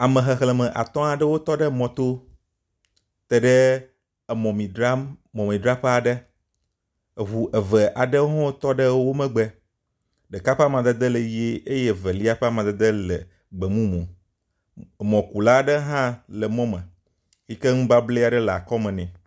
Ame xexleme atɔ̃ aɖewotɔ ɖe emɔ to te ɖe emɔmemi dzraƒe aɖe, eŋu eve aɖewo hã tɔ ɖewo tɔ ɖe wo megbe, ɖeka ƒe amadede le ʋi eye evelia ƒe amadede le gbe mumu, mɔkula aɖe hã le mɔme yi ke nublablɛ aɖe le akɔme nɛ